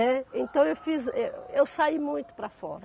É. Então eu fiz eu saí muito para fora.